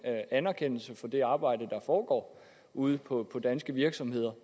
anerkendelse for det arbejde der foregår ude på danske virksomheder